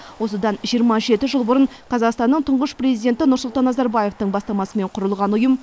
осыдан жиырма жеті жыл бұрын қазақстанның тұңғыш президенті нұрсұлтан назарбаевтың бастамасымен құрылған ұйым